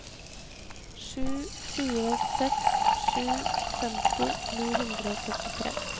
sju fire seks sju femti ni hundre og syttitre